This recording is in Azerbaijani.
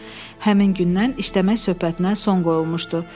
Həmin gündən işləmək söhbətinə son qoyulmuşdu.